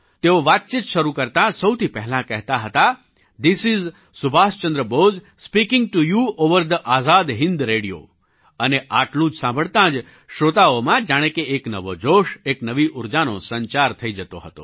તેઓ વાતચીત શરૂ કરતા સૌથી પહેલાં કહેતા હતા this is Subhash Chandra Bose speaking to you over the Azad Hind radio અને આટલું સાંભળતાં જ શ્રોતાઓમાં જાણે કે એક નવો જોશ એક નવી ઊર્જાનો સંચાર થઈ જતો હતો